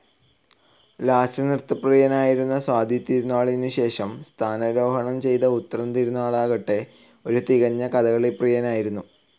ലാസ്യനൃത്തപ്രിയനായിരുന്ന സ്വാതിതിരുനാളിനുശേഷം സ്ഥാനാരോഹണം ചെയ്ത ഉത്രം തിരുനാളാകട്ടെ, ഒരു തികഞ്ഞ കഥകളി പ്രിയനായിരുന്നു.